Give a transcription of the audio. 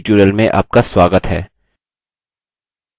libreoffice base पर इस spoken tutorial में आपका स्वागत है